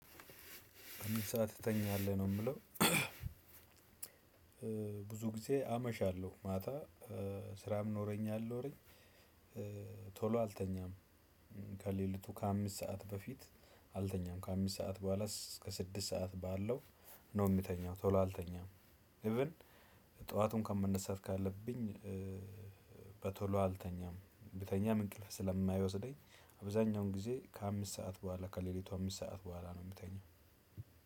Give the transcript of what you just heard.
ስንት ሰዓት ትተኛለህ ነው የምለው? ብዙ ጊዜ አመሻለሁ ማታ ስራም ኖረኝ አልኖረኝ። ቶሎ አልተኛም። ከሌሊቱ ከአምስት ሰዓት በፊት አልተኛም ከአምስት ሰዓት ቡሀላ እስከ ስድስት ሰዓት ባለው ነው ምተኛው ቶሎ አልተኛም። ኢቭን ጠዋት እንኳን መነሳት ካለብኝ። በቶሎ አልተኛም ብተኛም እንቅልፍ ስለማይወስደኝ። አብዛኛውን ጊዜ ከአምስት ሰዓት ቡሀላ ከሌሊቱ አምስት ሰዓት ቡሀላ ነው ምተኛው።